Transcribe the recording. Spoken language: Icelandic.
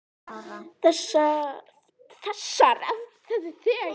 Þegar öflugir segulstormar verða sjást norðurljós nær miðbaug en venjulega.